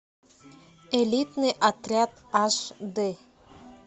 элитный отряд аш дэ